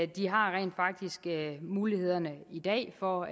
de har rent faktisk mulighederne i dag for